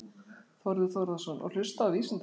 Þórður Þórðarson: Og hlusta á vísindamenn?